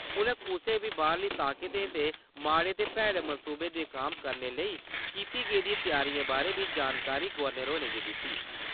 उनें कुसै बी बाह्रली ताकतें दे माड़े ते भैड़े मंसूबें गी नकाम करने लेई कीती गेदिएं तैआरिएं बारे बी जानकारी गवर्नर होरें गी दित्ती ।